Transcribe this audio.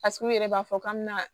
Paseke u yɛrɛ b'a fɔ k'an mɛna